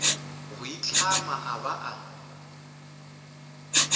go itlhama a ba a